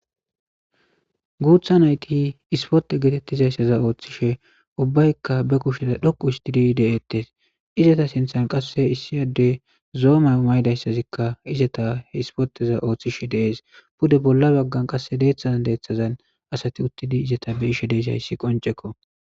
Guutha nayt sporte getetizaysa oothishe ubbayka be kushe dhoqu histid de'etes, izeta sinthan qase issi Adey zo'o may'o mayidaysazika sporteza othishe de'es, pude bolla bagan qase dethan dethazan asat uttid izeta beyishe dizays qoncekko.